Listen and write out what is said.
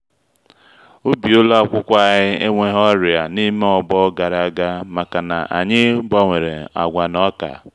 ubi ụlọ akwụkwọ anyị ewehou ọrịa n’ime ọgbọ gara aga maka-na anyị gbawere agwa na oka.